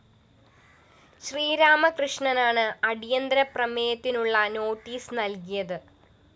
ശ്രീരാമകൃഷ്ണനാണ് അടിയന്തരപ്രമേയത്തിനുള്ള നോട്ടീസ്‌ നല്കിയത്